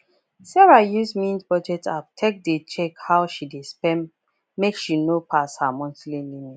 sarah use mint budget app take dey check how she dey spend make she no pass her monthly limit